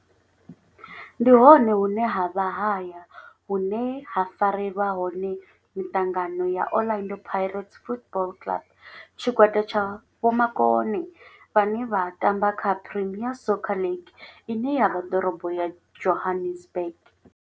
Ndi hone hune havha haya hune ha farelwa hone mitangano ya Orlando Pirates Football Club. Tshigwada tsha vhomakone vhane vha tamba kha Premier Soccer League ine ya vha Dorobo ya Johannesburg.